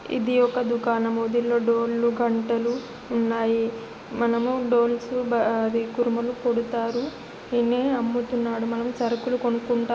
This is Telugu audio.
ఇధి ఒక ధుకణం దీనిలో డోర్ లు గంటలు ఉన్నాయి మనము డోర్స్ కూరుములు కుడతారు ధీనినీ అమ్ముతారు మనం సరుకులు కొనుకుంటాము